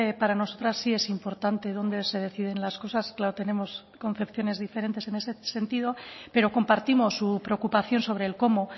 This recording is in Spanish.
para nosotras sí es importante dónde se deciden las cosas claro tenemos concepciones diferentes en ese sentido pero compartimos su preocupación sobre el cómo